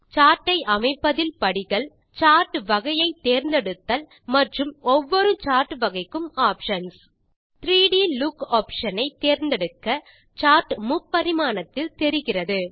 chart ஐ அமைப்பதில் படிகள் சார்ட் வகையை தேர்ந்தெடுத்தல் மற்றும் ஒவ்வொரு சார்ட் வகைக்கும் ஆப்ஷன்ஸ் 3ட் லூக் ஆப்ஷன் ஐ தேர்ந்தெடுக்க சார்ட் முப்பரிமாணத்தில் தெரிகிறது